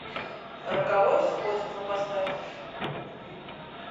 роковое сходство поставь